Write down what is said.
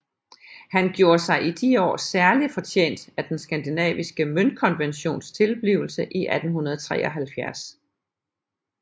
Han gjorde sig i de år særlig fortjent af den skandinaviske møntkonventions tilblivelse 1873